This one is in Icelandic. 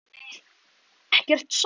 Það gaf ekkert svar.